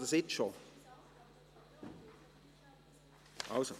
Möchten Sie jetzt schon sprechen?